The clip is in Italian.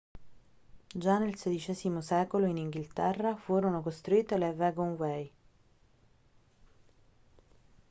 già nel xvi secolo in inghilterra furono costruite le wagonway